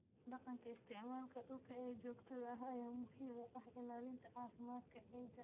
Dhaqanka isticmaalka dhulka ee joogtada ah ayaa muhiim u ah ilaalinta caafimaadka ciidda.